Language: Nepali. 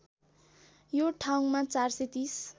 यो ठाउँमा ४३०